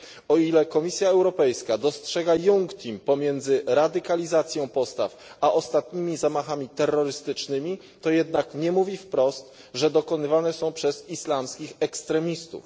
O ile Komisja Europejska dostrzega iunctim pomiędzy radykalizacją postaw a ostatnimi zamachami terrorystycznymi, to jednak nie mówi wprost, że dokonywane są one przez islamskich ekstremistów.